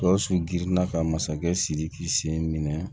Gawusu girinna ka masakɛ sidiki sen minɛ